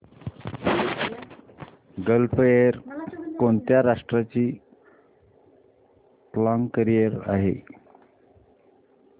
gulf Air कोणत्या राष्ट्राची flag carrier आहे